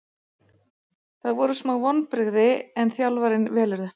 Það voru smá vonbrigði en þjálfarinn velur þetta.